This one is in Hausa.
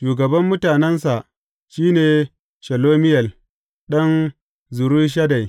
Shugaban mutanensa shi ne Shelumiyel ɗan Zurishaddai.